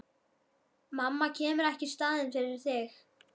Mamma kemur ekki í staðinn fyrir þig.